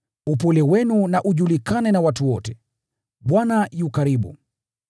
Upole wenu na ujulikane na watu wote. Bwana yu karibu.